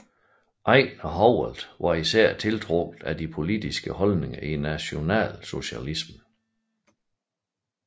Ejnar Howalt var især tiltrukket af de politiske holdninger i nationalsocialismen